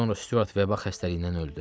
Sonra Stuart vəba xəstəliyindən öldü.